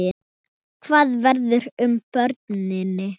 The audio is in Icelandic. Hvað verður um börnin?